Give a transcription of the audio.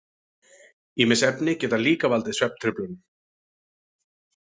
Ýmis efni geta líka valdið svefntruflunum.